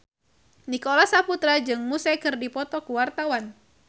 Nicholas Saputra jeung Muse keur dipoto ku wartawan